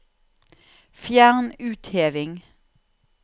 Fjern utheving